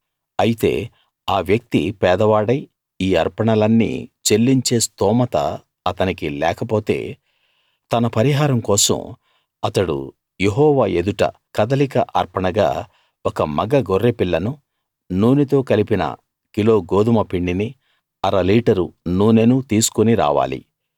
అయితే ఆ వ్యక్తి పేదవాడై ఈ అర్పణలన్నీ చెల్లించే స్తోమత అతనికి లేకపోతే తన పరిహారం కోసం అతడు యెహోవా ఎదుట కదలిక అర్పణగా ఒక మగ గొర్రె పిల్లనూ నూనెతో కలిపిన కిలో గోదుమ పిండినీ అర లీటరు నూనెనూ తీసుకుని రావాలి